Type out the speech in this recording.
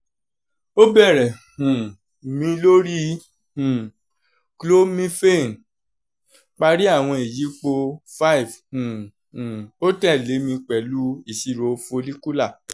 o bẹrẹ um mi lori um clomiphene{ pari awọn iyipo five um um o tẹle mi pẹlu iṣiro follicular